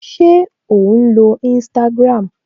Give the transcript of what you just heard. Ṣé ò ń lo Instagram?